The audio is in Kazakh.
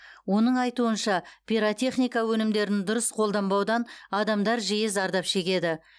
оның айтуынша пиротехника өнімдерін дұрыс қолданбаудан адамдар жиі зардап шегеді